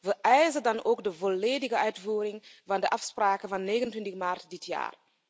We eisen dan ook de volledige uitvoering van de afspraken van 29 maart dit jaar.